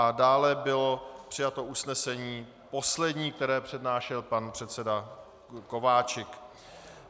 A dále bylo přijato usnesení poslední, které přednášel pan předseda Kováčik.